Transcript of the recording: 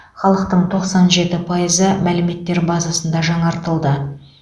халықтың тоқсан жеті пайызы мәліметтер базасында жаңартылды